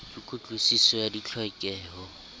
ke kutlwi siso ya ditlhokeho